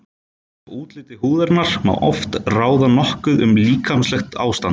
Af útliti húðarinnar má oft ráða nokkuð um líkamlegt ástand.